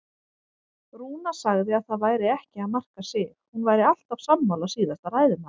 Rúna sagði að það væri ekki að marka sig, hún væri alltaf sammála síðasta ræðumanni.